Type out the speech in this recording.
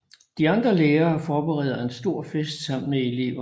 De andre lærere forbereder en stor fest sammen med eleverne